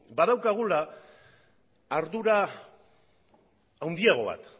badaukagula ardura handiago bat